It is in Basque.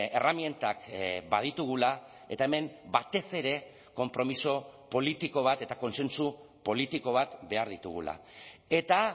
erremintak baditugula eta hemen batez ere konpromiso politiko bat eta kontsentsu politiko bat behar ditugula eta